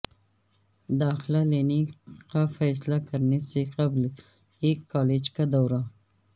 داخلہ لینے کا فیصلہ کرنے سے قبل ایک کالج کا دورہ